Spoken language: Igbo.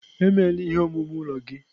Emeela ihe omume ụlọ gị?